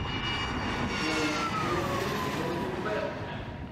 футбол бернли против вест хэм